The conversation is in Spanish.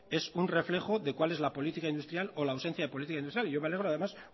es un reflejo de cuál es la política industrial o la ausencia de política industrial y yo me alegro además